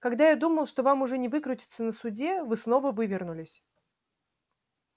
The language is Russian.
когда я думал что вам уже не выкрутиться на суде вы снова вывернулись